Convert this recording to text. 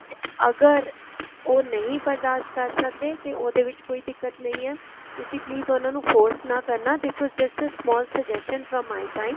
ਅਗਰ ਉਹ ਨਹੀਂ ਬਰਦਾਸ਼ਤ ਕਰ ਸਕਦੇ ਉਹਦੇ ਵਿੱਚ ਕੋਈ ਦਿੱਕਤ ਨਹੀਂ ਹੈ ਤੁਸੀਂ please ਉਹਨਾ ਨੂੰ force ਨਾ ਕਰਨਾ this was just a small suggestion from my side